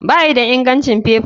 Bayi da ingancin faifa.